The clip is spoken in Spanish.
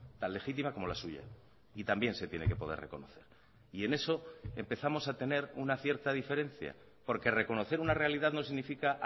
tan legítima como la suya y también se tiene que poder reconocer y en eso empezamos a tener una cierta diferencia porque reconocer una realidad no significa